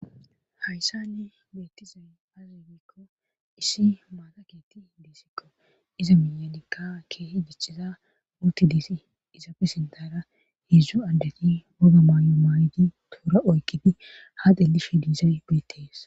hayssani beettizay azegekko issi maataketi diisikko iza minyanikka keehi jiciza murti diisi izaafe sindara heedzdzu addeti woga maayo maayidi tuura oykkidi ha delifidiisay guitees